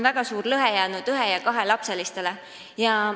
... lõhe ühe- ja kahelapseliste perede seisukohalt.